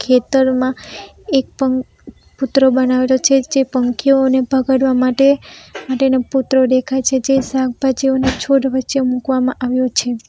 ખેતરમાં એક પન પુતરો બનાવેલો છે જે પંખીઓને ભગાડવા માટે માટેનો પુતરો દેખાય છે જે શાકભાજીઓના છોડ વચ્ચે મુકવામાં આવ્યો છે.